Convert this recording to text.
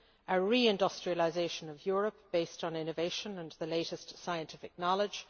a reindustrialisation of Europe based on innovation and the latest scientific knowledge